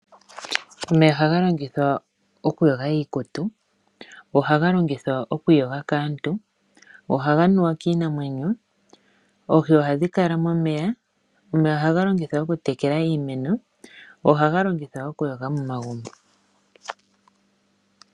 Omeya ohaga longithwa okuyoga iikutu, go ohaga longithwa okwiiyoga kaantu, go ohaga nuwa kiinamwenyo. Oohi ohadhi kala momeya, omeya ohaga longithwa okutekela iimeno, go ohaga longithwa okuyoga momagumbo.